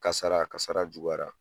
Kasara, kasara juyara.